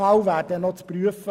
Das wäre noch zu prüfen.